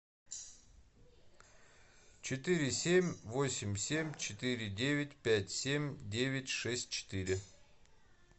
четыре семь восемь семь четыре девять пять семь девять шесть четыре